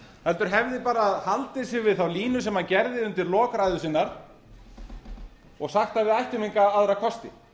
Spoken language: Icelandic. heldur hefði bara haldið sig við þá línu sem hann gerði undir lok ræðu sinnar og sagt að við ættum enga aðra kosti